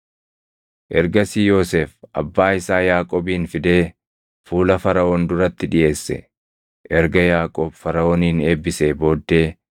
Ergasii Yoosef abbaa isaa Yaaqoobin fidee fuula Faraʼoon duratti dhiʼeesse. Erga Yaaqoob Faraʼoonin eebbisee booddee,